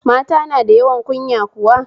Mata na da yawan kunya kuwa?